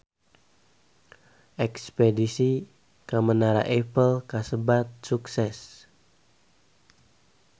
Espedisi ka Menara Eiffel kasebat sukses